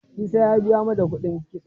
Isa ya biya mata kuɗin kitso.